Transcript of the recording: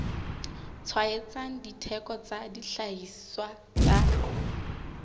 tshwaetsang ditheko tsa dihlahiswa tsa